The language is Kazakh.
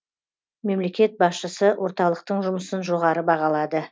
мемлекет басшысы орталықтың жұмысын жоғары бағалады